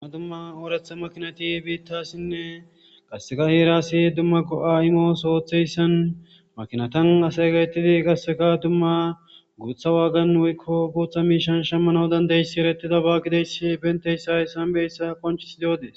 Dumma dumma oratha makinati bittasin